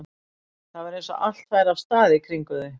Það var eins og allt færi af stað í kringum þau.